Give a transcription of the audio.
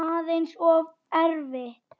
Aðeins of erfitt.